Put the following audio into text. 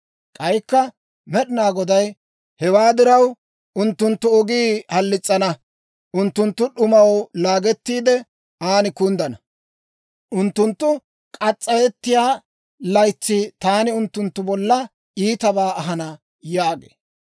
K'aykka Med'inaa Goday, «Hewaa diraw, unttunttu ogii halis's'ana; unttunttu d'umaw laagettiide, an kunddana. Unttunttu k'as's'ayettiyaa laytsi taani unttunttu bollan iitabaa ahana» yaagee.